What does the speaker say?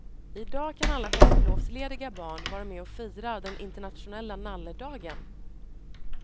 I dag kan alla höstlovslediga barn vara med och fira den internationella nalledagen.